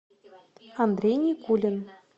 андрей никулин